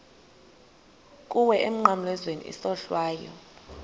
kuwe emnqamlezweni isohlwayo